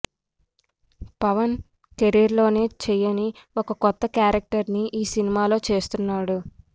Pawan career లోనే చేయని ఒక కొత్త క్యారెక్టర్ ని ఈ సినిమాలో చేస్తున్నాడు